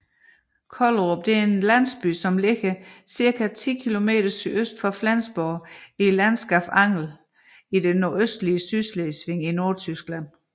Kollerup er en landsby beliggende cirka 10 km sydøst for Flensborg i landskabet Angel i det nordøstlige Sydslesvig i Nordtyskland